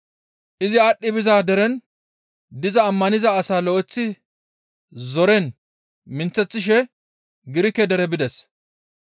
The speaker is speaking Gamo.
Izi aadhdhi biza deren diza ammaniza asaa lo7eththi zoren minththeththishe Girike dere bides.